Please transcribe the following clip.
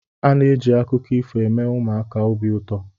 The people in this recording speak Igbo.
A na-eji akụkọ ifo eme ụmụaka obi ụtọ.